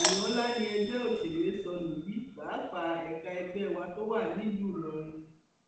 èèyàn ńlá ni ẹgbẹ òṣèré sọnù yìí pàápàá ẹka ẹgbẹ wa tó wà nílùú ìlọrin